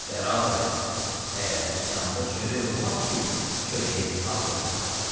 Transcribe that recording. Bəradərim, Ərəbistanda çörək olmaz ki, çörəyə bir ad qoyalar.